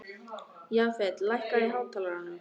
Jafet, lækkaðu í hátalaranum.